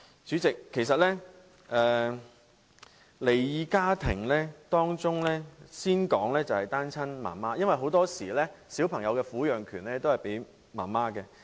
主席，就離異家庭方面，我先說一說單親媽媽的情況，因為很多時小朋友的撫養權會判給母親。